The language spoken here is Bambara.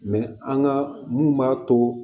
an ka mun b'a to